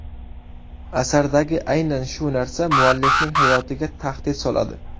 Asardagi aynan shu narsa muallifning hayotiga tahdid soladi.